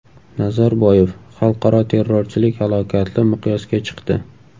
Nazarboyev: Xalqaro terrorchilik halokatli miqyosga chiqdi.